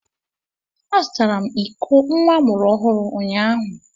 Azụtara m iko nwa amụrụ ọhụrụ unyaahụ.